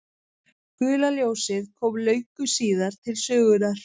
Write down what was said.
gula ljósið kom löngu síðar til sögunnar